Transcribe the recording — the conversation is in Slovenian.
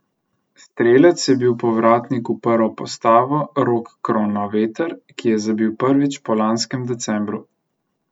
Strelec je bil povratnik v prvo postavo Rok Kronaveter, ki je zabil prvič po lanskem decembru.